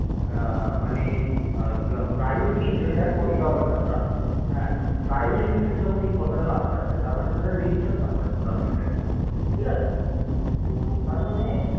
private limited যখন এই কথাটা last এ আসে তার মানে সেটা register company goverment র ঠিক আছে তার মানে